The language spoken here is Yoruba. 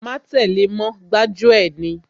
Má tẹ́le mọ́, gbájú ẹ̀ ni